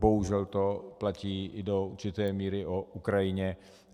Bohužel to platí do určité míry i o Ukrajině.